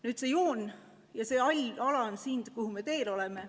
Nüüd see joon ja see hall ala on siin, kuhu me teel oleme.